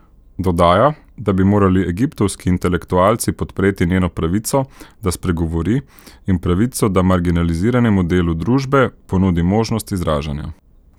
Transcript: Dodaja, da bi morali egiptovski intelektualci podpreti njeno pravico, da spregovori in pravico, da marginaliziranemu delu družbe ponudi možnost izražanja.